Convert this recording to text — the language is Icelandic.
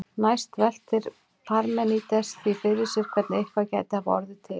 Næst veltir Parmenídes því fyrir sér hvernig eitthvað gæti hafa orðið til.